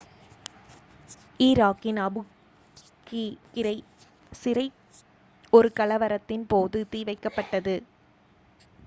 ஈராக்கின் Abu Ghraib சிறை ஒரு கலவரத்தின் போது தீ வைக்கப்பட்டது